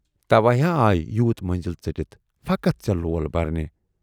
توے ہا آیہِ یوٗت مٔنزِل ژٔٹِتھ فقط ژے لول برنہِ۔